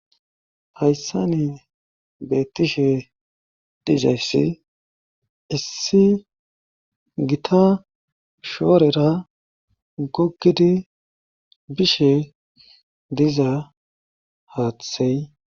Hayssani beettishe dizayssi issi gita shoorera gogidi bishe diza haathey..